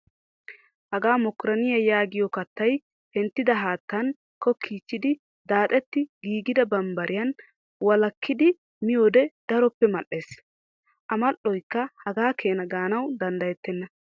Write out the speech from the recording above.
Hagaa mokkorinniyaa yaagiyo kattaay penttida haattan kokkiichchidi daaxetti giigida bambbariyan walakkidi miyoode daroppe mal''es. A mal''oyikka hagaa keena gaanawu danddayettenna.